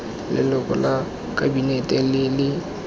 leloko la kabinete le le